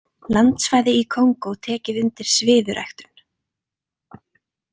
Landsvæði í Kongó tekið undir sviðuræktun.